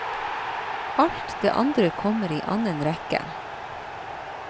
Alt det andre kommer i annen rekke.